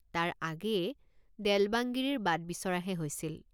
তাৰ আগেয়ে দেল্ বাংগিৰিৰ বাট বিচৰাহে হৈছিল।